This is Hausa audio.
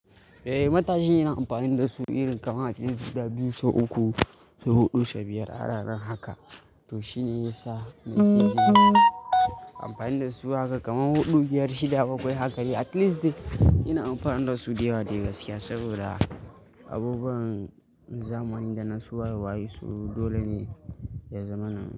Eh, matashi yana amfani da su irin kamar ace guda biyu, sau uku, sau huɗu, sau biyar a rana haka. To shi ne yasa nake jin amfani da su haka kamar huɗu, biyar, shida, bakwai haka dai at least ina amfani da su da yawa dai gaskiya saboda abubuwan zamani da na su waye waye so dole ne ya zamana.